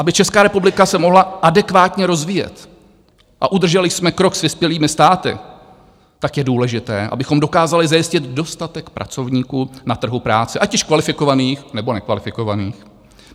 Aby Česká republika se mohla adekvátně rozvíjet a udrželi jsme krok s vyspělými státy, tak je důležité, abychom dokázali zajistit dostatek pracovníků na trhu práce, ať už kvalifikovaných nebo nekvalifikovaných.